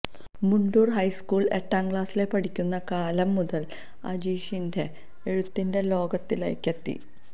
മുണ്ടൂര് ഹൈസ്കൂളില് എട്ടാംക്ലാസില് പഠിക്കുന്ന കാലം മുതല് അജീഷിന്റെ എഴുത്തിന്റെ ലോകത്തിലേക്കെത്തി